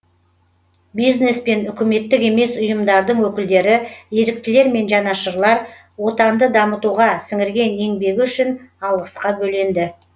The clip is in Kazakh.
бизнес пен үкіметтік емес ұйымдардың өкілдері еріктілер мен жанашырлар отанды дамытуға сіңірген еңбегі үшін алғысқа бөленді